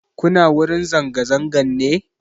Kuna wurin zanga-zangan ne?